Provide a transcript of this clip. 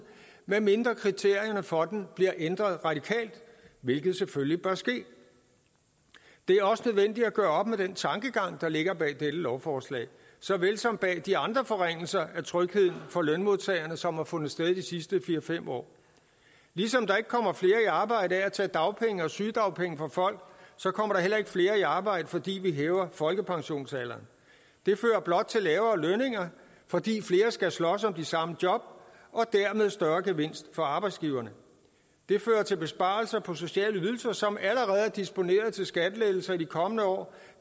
medmindre kriterierne for den bliver ændret radikalt hvilket selvfølgelig bør ske det er også nødvendigt at gøre op med den tankegang der ligger bag dette lovforslag såvel som bag de andre forringelser af trygheden for lønmodtagerne som har fundet sted de sidste fire fem år ligesom der ikke kommer flere i arbejde af at tage dagpenge og sygedagpenge fra folk kommer der heller ikke flere i arbejde fordi vi hæver folkepensionsalderen det fører blot til lavere lønninger fordi flere skal slås om de samme job og dermed en større gevinst for arbejdsgiverne det fører til besparelser på sociale ydelser som allerede er disponeret til skattelettelser i de kommende år